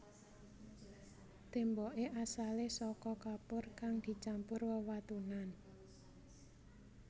Témboké asalé saka kapur kang dicampur wewatunan